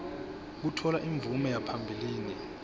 kutfola imvume yaphambilini